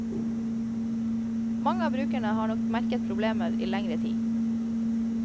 Mange av brukerne har nok merket problemer i lengre tid.